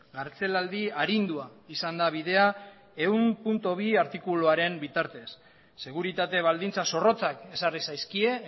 kartzelaldi arindua izan da bidea ehun puntu bi artikuluaren bitartez seguritate baldintza zorrotzak ezarri zaizkie